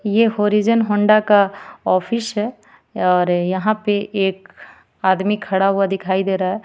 यह horizon Honda का office है और यहां पे एक आदमी खड़ा हुआ दिखाई दे रहा है.